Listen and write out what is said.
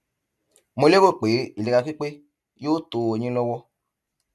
mo lérò pé ìlera pípé yóò tó ó yín lọwọ